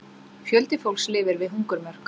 Fjöldi fólks lifi við hungurmörk